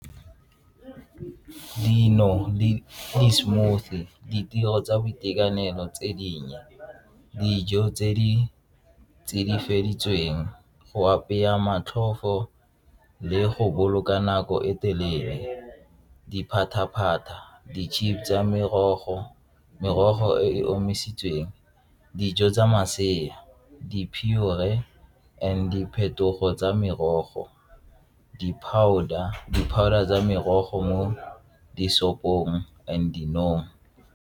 Dino le di-smoothie, ditiro tsa boitekanelo tse dinnye dijo tse di go apeya matlhofo le go boloka nako e telele diphataphata, di-chips tsa merogo, merogo e e omisitsweng, dijo tsa masea, di and diphetogo tsa merogo, di-powder, di-powder tsa merogo mo di-shop-ong and .